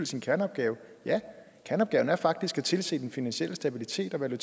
sin kerneopgave ja kerneopgaven er faktisk at tilse den finansielle stabilitet og den